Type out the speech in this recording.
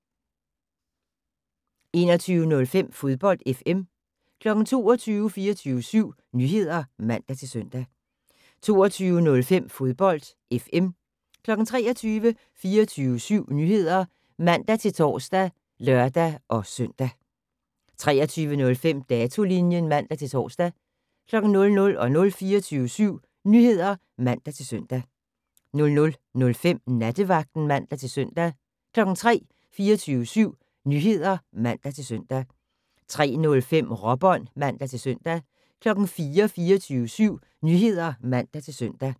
21:05: Fodbold FM 22:00: 24syv Nyheder (man-søn) 22:05: Fodbold FM 23:00: 24syv Nyheder (man-tor og lør-søn) 23:05: Datolinjen (man-tor) 00:00: 24syv Nyheder (man-søn) 00:05: Nattevagten (man-søn) 03:00: 24syv Nyheder (man-søn) 03:05: Råbånd (man-søn) 04:00: 24syv Nyheder (man-søn)